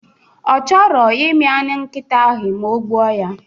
Ọ chọrọ imi anụ nkita ahụ ma o gbuo ya